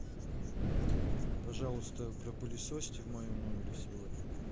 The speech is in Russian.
пожалуйста пропылесосьте в моем номере сегодня